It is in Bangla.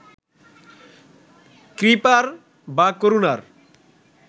কৃপার বা করুণার